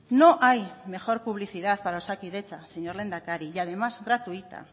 no hay mejor publicidad para osakidetza señor lehendakari y además gratuita